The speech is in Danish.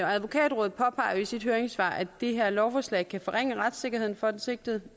og advokatrådet påpeger jo i sit høringssvar at det her lovforslag kan forringe retssikkerheden for den sigtede